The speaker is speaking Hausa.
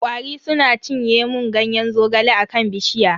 Kwari suna cinye mun Ganyen zogale a kan bishiya.